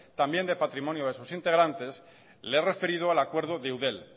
también de patrimonio de sus integrantes le he referido al acuerdo de eudel